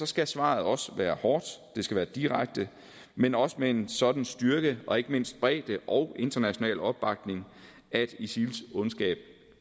skal svaret også være hårdt det skal være direkte men også med en sådan styrke og ikke mindst bredde og international opbakning at isils ondskab